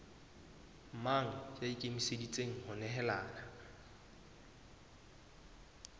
mang ya ikemiseditseng ho nehelana